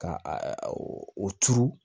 Ka a o turu